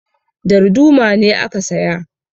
Darduma ne aka saya